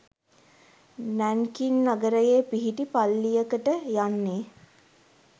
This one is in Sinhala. නැන්කින් නගරයේ පිහිටි පල්ලියකට යන්නේ